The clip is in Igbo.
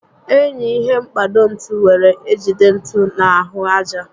Enyi ihe mkpado ntu were ejide ntu na ahụ aja